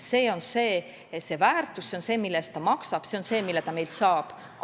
See on see väärtus, mille eest ta maksab, see on see, mille ta meilt saab.